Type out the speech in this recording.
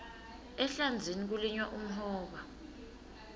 ehlandzeni kulinywa umhoba